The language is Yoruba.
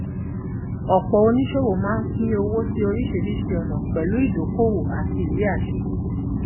ọpọ oníṣòwò máa ń pín owó sí oríṣiríṣi ọnà pẹlú ìdókòwò àti ìwé àṣẹ